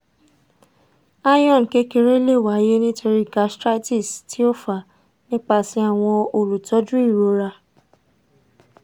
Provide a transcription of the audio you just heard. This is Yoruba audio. iron kekere le waye nitori gastritis ti o fa nipasẹ awọn olutọju irora